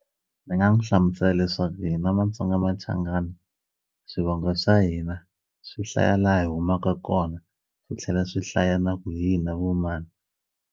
Ni nga n'wu hlamusela leswaku hina Matsonga Machangani swivongo swa hina swi hlaya la hi humaka kona swi tlhela swi hlaya na ku hina vo mani.